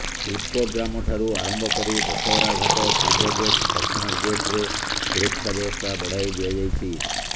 ଶିଳ୍ପଗ୍ରାମଠାରୁ ଆରମ୍ଭ କରି ଦଶହରା ଘାଟ ପୂର୍ବ ଗେଟ୍ ଦକ୍ଷିଣ ଗେଟ୍ରେ ସୁରକ୍ଷା ବ୍ୟବସ୍ଥା ବଢାଇ ଦିଆଯାଇଛି